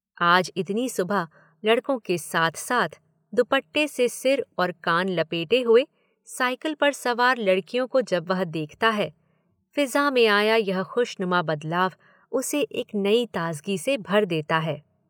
आज इतनी सुबह लड़कों के साथ-साथ दुपट्टे से सिर और कान लपेटे हुए साइकिल पर सवार लड़कियों को जब वह देखता है, फिज़ां में आया यह खुशनुमा बदलाव उसे एक नई ताजगी से भर देता है।